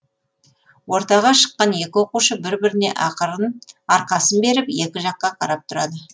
ортаға шыққан екі оқушы бір біріне арқасын беріп екі жаққа қарап тұрады